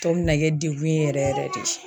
Tɔ bɛ na kɛ degun ye yɛrɛ yɛrɛ de.